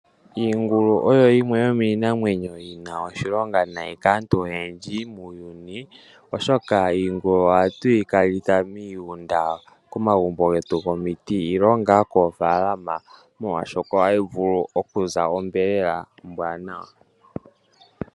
Iingulu oyo yimwe yomiinamwenyo yina oshilonga nayi kaantu oyendji muuyuni oshoka iingulu ohatuyikalitha miigunda komagumbo getu gomiti nenge ngaa koofaalama molwashoka ohayi vulu okuza onyama ombwaanawa.